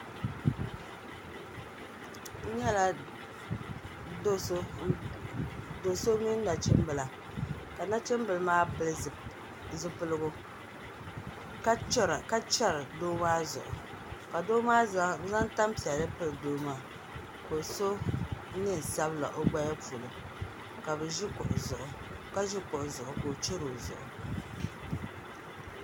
N nyɛla do so mini nachimbila ka nachimbili maa pili zipiligu ka chɛri doo maa zuɣu ka zaŋ tanpiɛlli pili doo maa ka o so neen sabila o gbaya polo ka ʒi kuɣu zuɣu ka o chɛri o zuɣu